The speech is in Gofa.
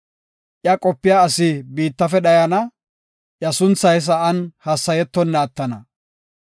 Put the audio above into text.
Iya qopiya asi biittafe dhayana; iya sunthay sa7an hassayetonna attana.